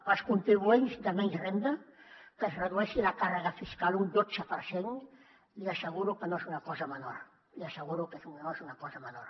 per als contribuents de menys renda que es redueixi la càrrega fiscal un dotze per cent li asseguro que no és una cosa menor li asseguro que no és una cosa menor